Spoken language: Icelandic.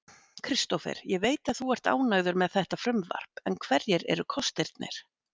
Kristófer, ég veit að þú ert ánægður með þetta frumvarp en hverjir eru kostirnir?